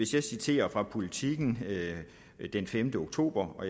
jeg citerer fra politiken den femte oktober hvor